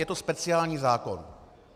Je to speciální zákon.